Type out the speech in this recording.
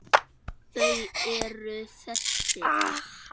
Þau eru þessi: